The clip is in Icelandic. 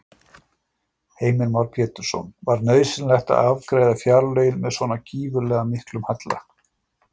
Heimir Már Pétursson: Var nauðsynlegt að afgreiða fjárlögin með svona gífurlega miklum halla?